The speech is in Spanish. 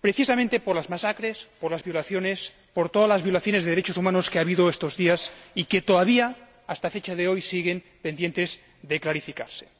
precisamente por las masacres, por las violaciones, por todas las violaciones de los derechos humanos que ha habido estos días y que, todavía, hasta la fecha de hoy, siguen pendientes de clarificación.